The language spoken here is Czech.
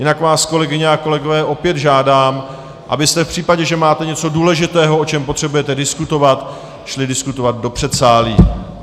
Jinak vás, kolegyně a kolegové, opět žádám, abyste v případě, že máte něco důležitého, o čem potřebujete diskutovat, šli diskutovat do předsálí.